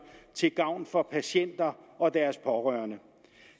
til gavn for patienter og deres pårørende